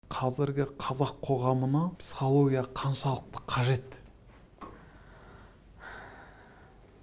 қазіргі қазақ қоғамына психология қаншалықты қажет